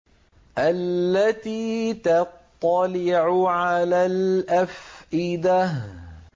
الَّتِي تَطَّلِعُ عَلَى الْأَفْئِدَةِ